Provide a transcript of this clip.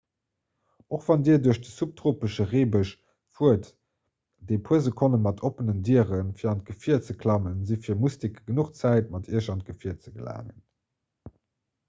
och wann dir duerch de subtropesche reebësch fuert dé puer sekonne mat oppenen dieren fir an d'gefier ze klammen si fir mustike genuch zäit mat iech an d'gefier ze gelaangen